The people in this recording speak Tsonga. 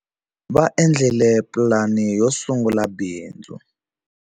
Va endlile pulani yo sungula bindzu.